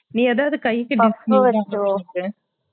நீ எதாவது கைக்கு